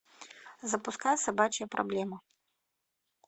запускай собачья проблема